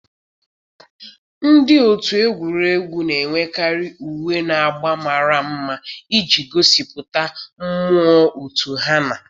Ndị otu egwuregwu na-enwekarị uwe na agba mara mma iji gosipụta mmụọ otu ha na